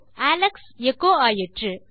Alex எச்சோ ஆயிற்று